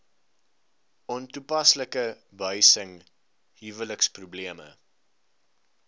ontoepaslike behuising huweliksprobleme